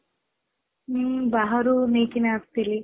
ହୁଁ ବାହାରୁ ନେଇ କି ନା ଆସି ଥିଲି